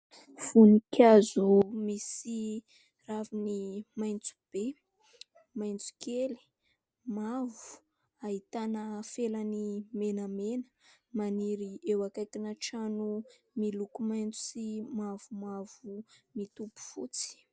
Voninkazo misy raviny maitso be, maitso kely, mavo, ahitana felany menamena. Maniry eo akaikina trano miloko maitso sy mavomavo mitopy fotsy.